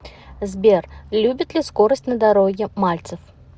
сбер любит ли скорость на дороге мальцев